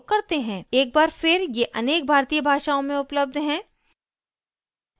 एक बार फिर ये अनेक भारतीय भाषाओँ में उपलब्ध हैं